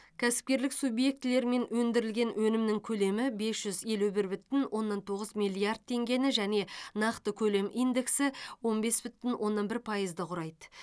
кәсіпкерлік субъектілерімен өндірілген өнімнің көлемі бес жүз елу бір бүтін оннан тоғыз миллиард теңгені және нақты көлем индексі он бес бүтін оннан бір пайызды құрайды